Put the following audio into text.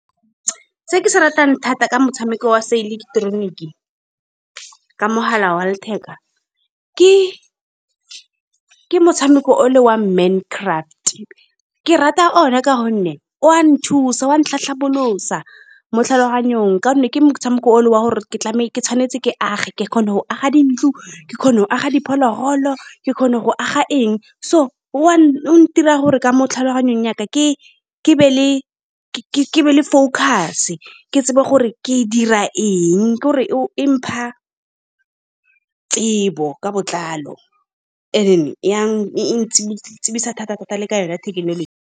Se ke se ratang thata ke motshameko wa seileketeroniki ka mogala wa letheka. Ke motshameko o le wa Mine Craft. Ke rata one ka gonne wa nthusa, wa ntlhatlhabolosa mo tlhaloganyong ka gonne ke motshameko wa gore ke tshwanetse ke age. Ke kgona go aga dintlo, ke kgona go aga diphologolo, ke kgona go aga eng so, wa o ntira gore, ka mo tlhaloganyong ya ka, ke-ke be le, ke-ke be le focus-e. Ke tsebe gore ke dira eng, ke gore o mpha tsebo ka botlalo. And-e then ya e-e ntsibisa thata-thata le ka yone ya thekenoloji.